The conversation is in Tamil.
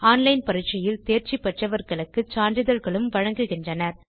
ஆன்லைன் பரிட்சையில் தேர்ச்சி பெற்றவர்களுக்கு சான்றிதழ் வழங்குகின்றனர்